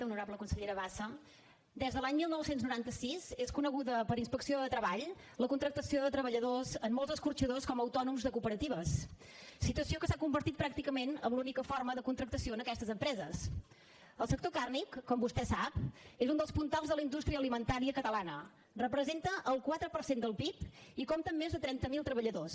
honorable consellera bassa des de l’any dinou noranta sis és coneguda per inspecció de treball la contractació de treballadors a molts escorxadors com a autònoms de cooperatives situació que s’ha convertit pràcticament en l’única forma de contractació en aquestes empresesel sector carni com vostè sap és un dels puntals de la indústria alimentària catalana representa el quatre per cent del pib i compta amb més de trenta mil treballadors